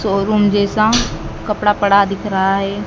Showroom जैसा कपड़ा पड़ा दिख रहा है।